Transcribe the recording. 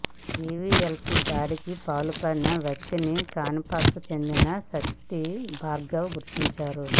జీవీఎల్పై దాడికి పాల్పడిన వ్యక్తిని కాన్పూర్కు చెందిన శక్తి భార్గవ్గా గుర్తించారు